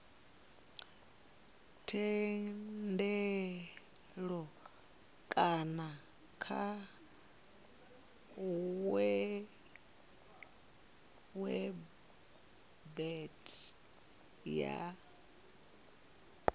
thendelo kana kha website ya